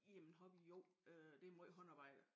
Jamen hobby jo det meget håndarbejde